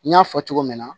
N y'a fɔ cogo min na